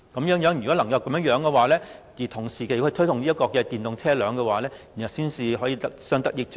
如果可以這樣做，同時推動電動車輛，才可以相得益彰。